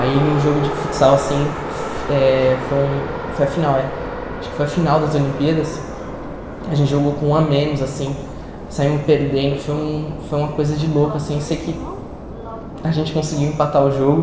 Aí no jogo de futsal, assim, eh foi um foi a final é, acho que foi a final das Olimpíadas, a gente jogou com um a menos, assim, saímos perdendo, foi um foi uma coisa de louco, assim, eu sei que a gente conseguiu empatar o jogo,